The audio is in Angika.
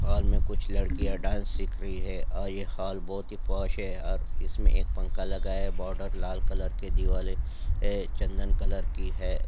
हॉल में कुछ लड़कियां डांस सीख रही हैं और ये हॉल बहुत ही है और इसमें एक पंखा लगा है बॉर्डर लाल कलर के देवाल है चंदन कलर की है।